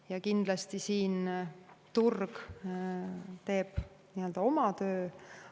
Ja kindlasti siin turg teeb oma töö.